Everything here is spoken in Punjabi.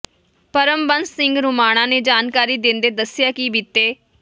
ਪਰਮਬੰਸ ਸਿੰਘ ਰੋਮਾਣਾ ਨੇ ਜਾਣਕਾਰੀ ਦਿੰਦੇ ਦੱਸਿਆ ਕਿ ਬੀਤੇ